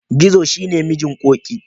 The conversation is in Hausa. Gizo shi ne mijin Ƙoƙi.